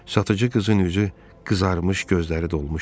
Satıcı qızın üzü qızarmış, gözləri dolmuşdu.